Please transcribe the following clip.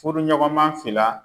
Furuɲɔgɔnma fila